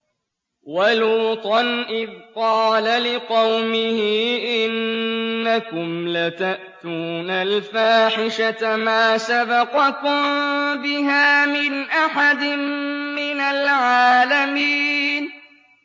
وَلُوطًا إِذْ قَالَ لِقَوْمِهِ إِنَّكُمْ لَتَأْتُونَ الْفَاحِشَةَ مَا سَبَقَكُم بِهَا مِنْ أَحَدٍ مِّنَ الْعَالَمِينَ